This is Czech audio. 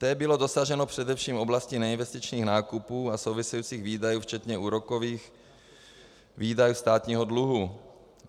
Té bylo dosaženo především v oblasti neinvestičních nákupů a souvisejících výdajů včetně úrokových výdajů státního dluhu.